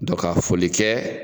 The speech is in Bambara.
Dɔ ka foli kɛ